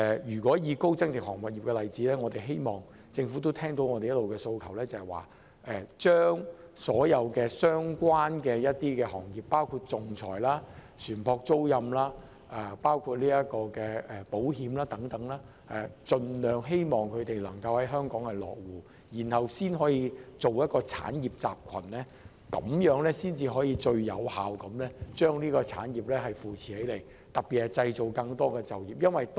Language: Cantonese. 以高增值航運業為例，我希望政府聽到我們一直以來的訴求，針對所有相關的行業，包括仲裁、船舶租賃、保險等，盡量吸引外國公司來香港落戶，從而建立一個產業集群，這樣才能最有效扶持整個產業，特別有助製造更多就業機會。